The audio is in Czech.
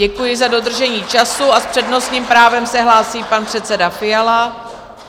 Děkuji za dodržení času a s přednostním právem se hlásí pan předseda Fiala.